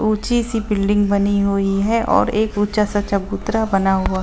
ऊँची सी बिल्डिंग बनी हुई है और एक ऊँचा सा चबूतरा बना--